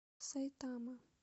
сайтама